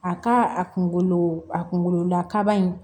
A ka a kunkolo a kunkolola kaba in